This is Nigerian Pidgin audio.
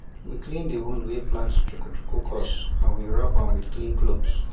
we clean the wound wey plant chuku chuku cause and we wrapam with clean cloth